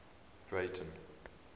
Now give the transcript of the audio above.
breyten